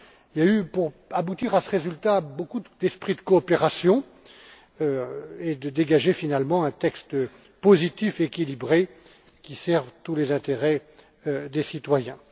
Il y a eu, pour aboutir à ce résultat, beaucoup d'esprit de coopération, qui a permis de dégager finalement un texte positif et équilibré qui serve tous les intérêts des citoyens.